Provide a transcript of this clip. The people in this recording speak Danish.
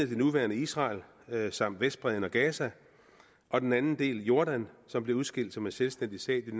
det nuværende israel samt vestbredden og gaza og den anden del er jordan som blev udskilt som en selvstændig stat